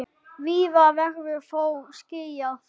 Víða verður þó skýjað.